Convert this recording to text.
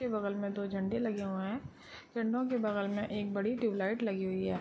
इसके बगल मैं दो झंडे लगे हुए हैं | झंडो के बगल मैं एक बड़ी ट्यूबलाइट लगी हुई है |